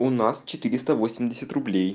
у нас четыресто восемьдесят рублей